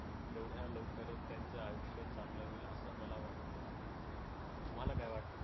तेवढ्या लवकरच त्यांचं आयुष्य चांगलं होईल असं मला वाटतं. तुम्हाला काय वाटतं?